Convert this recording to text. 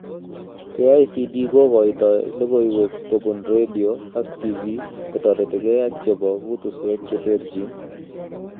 KICD kokoitoi logoiywek kobun radio ak tv kotoretigei ak chebo kutusweek cheterjin